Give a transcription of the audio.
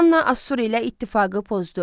Manna Assur ilə ittifaqı pozdu.